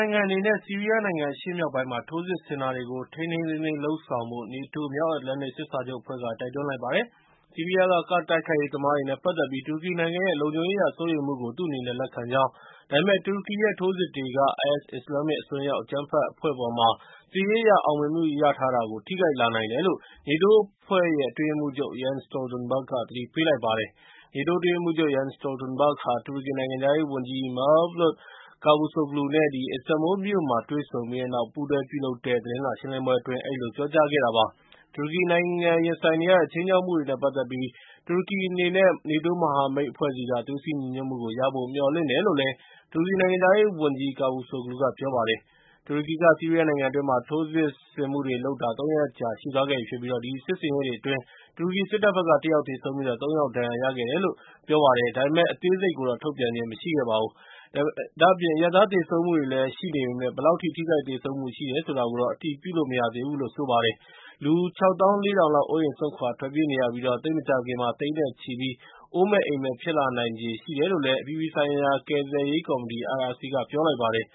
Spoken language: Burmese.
ိုင်ငံအနေနဲ့ ဆီးရီးယားနိုင်ငံအရှေ့မြောက်ပိုင်းမှာ ထိုးစစ်ဆင်တာတွေကို ထိန်းထိန်းသိမ်းသိမ်းလုပ်ဆောင်ဖို့ NATO မြောက်အတ္တလန္တိတ် စစ်စာချုပ်အဖွဲ့က တိုက်တွန်းလိုက်ပါတယ်။ ဆီးရီးယားက ကာဒ့် တိုက်ခိုက်ရေးသမားတွေနဲ့ ပတ်သက်ပြီး တူရကီနိုင်ငံရဲ့ လုံခြုံရေးအရစိုးရိမ်မှုကို သူ့အနေနဲ့လက်ခံကြောင်း ဒါပေမဲ့ တူရကီရဲ့ ထိုးစစ်တွေက IS အစ္စလာမ်မစ် အစွန်းရောက် အကြမ်းဖက်အဖွဲ့အပေါ်မှာ စစ်ရေးအရ အောင်မြင်မှု ရထားတာကို ထိခိုက်လာနိုင်တယ်လို့ NATO အဖွဲ့အတွက် အတွင်းရေးမှူးချုပ် Jens Stoltenberg က သတိပေးလိုက်ပါတယ်။ NATO အတွင်းရေးမှူးချုပ် Jens Stoltenberg ဟာ တူရကီနိုင်ငံခြားရေးဝန်ကြီး Mevlut Cavusoglu နဲ့ အစ္စတန်ဘူလ်မြို့မှာ တွေ့ဆုံပြီးတဲ့နောက် ပူးတွဲပြုလုပ်တဲ့ သတင်းစာရှင်းလင်းပွဲအတွင်း အဲဒီလို ပြောကြားခဲ့တာပါ။ တူရကီနိုင်ငံရင်ဆိုင်နေရတဲ့ ခြိမ်းခြောက်မှုတွေနဲ့ ပတ်သက်ပြီး တူရကီအနေနဲ့ နေတိုးမဟာမိတ်အဖွဲ့ဆီက သွေးစည်းညီညွတ်မှုကို ရဖို့မျှော်လင့်တယ်လို့ တူရကီနိုင်ငံခြားရေးဝန်ကြီး Cavusoglu က ပြောပါတယ်။ တူရကီက ဆီးရီးယားနိုင်ငံအတွင်းမှာ ထိုးစစ်ဆင်မှုတွေလုပ်တာ ၃ ရက်ကြာ ရှိသွားခဲ့ပြီဖြစ်ပြီး အဲဒီစစ်ဆင်ရေးအတွင်း တူရကီစစ်တပ်ဘက်က တ ယောက်သေဆုံးပြီး သုံး ယောက် ဒဏ်ရာရခဲ့တယ်လို့ တူရကီဘက်က ပြောပါတယ်။ ဒါပေမဲ့ အသေးစိတ်ကိုတော့ ထုတ်ပြန်ခြင်းမရှိခဲ့ပါဘူး။ ဒါ့အပြင် အရပ်သားသေဆုံးမှုတွေလည်းရှိနေပေမယ့် ဘယ်လောက်အထိ ထိခိုက်သေဆုံးမှု ရှိတယ်ဆိုတာကိုတော့ အတည်ပြုလို့ မရသေးပါဘူး။ လူ ၆၄,၀၀၀ လောက် အိုးအိမ်စွန့်ခွာထွက်ပြေးနေရပြီး သိပ်မကြာခင်မှာ သိန်းနဲ့ချီပြီး အိုးမဲ့အိမ်မဲ့ ဖြစ်လာနိုင်ချေဖို့ရှိတယ်လို့ အပြည်ပြည်ဆိုင်ရာ ကယ်ဆယ်ရေးကော်မတီ (IRC) က ပြောလိုက်ပါတယ်